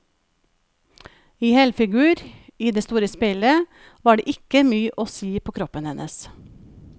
I helfigur, i det store speilet, var det ikke mye å si på kroppen hennes.